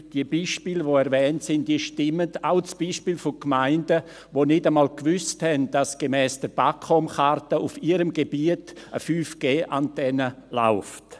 Die Beispiele, die erwähnt sind, stimmen, auch das Beispiel der Gemeinden, die nicht einmal wussten, dass gemäss der BAKOM-Karte auf ihrem Gebiet eine 5GAntenne läuft.